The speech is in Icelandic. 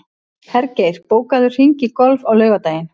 Hergeir, bókaðu hring í golf á laugardaginn.